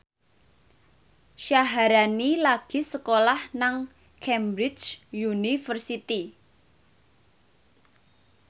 Syaharani lagi sekolah nang Cambridge University